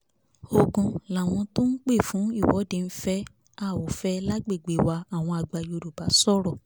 ogun làwọn tó ń pè fún ìwọ́de ń fẹ́ a ò fẹ́ lágbègbè wa àwọn àgbà yorùbá sọ̀rọ̀